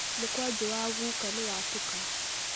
Mũkwanjũ wa guka nĩwatũka.